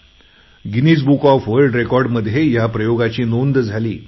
Guinness Book of World Record मध्ये ह्या प्रयोगाची नोंद झाली